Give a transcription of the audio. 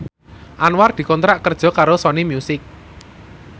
Anwar dikontrak kerja karo Sony Music